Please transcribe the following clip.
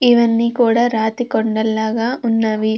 ఇవన్నీ కూడా రాతి కొండల్లాగా ఉన్నవి.